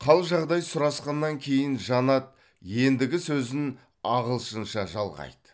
қал жағдай сұрасқаннан кейін жанат ендігі сөзін ағылшынша жалғайды